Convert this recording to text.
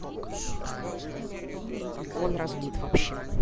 и он разлит вообще